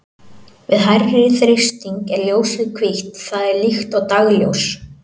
Við hærri þrýsting er ljósið hvítt, það er líkt og dagsljós.